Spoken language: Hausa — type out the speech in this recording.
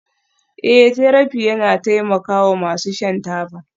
Eh therapy yana taimakawa masu shan taba